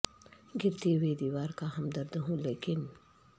گر تی ہو ئی دیوار کا ہمدرد ہوں لیکن